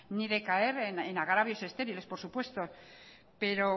ni de caer en agravios estériles por supuesto pero